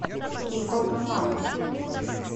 кико милано